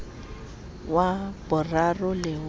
wa boraro le ha ho